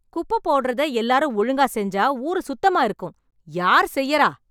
குப்பை போட்றத எல்லாரும் ஒழுங்கா செஞ்சா ஊரு சுத்தமா இருக்கும். யார் செய்றா?